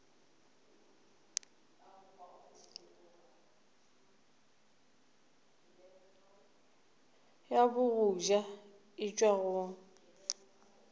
ya bogoja e tšwa go